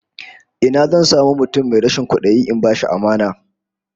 Ina zan samu mutum mai rashin kwadayi in bashi amana?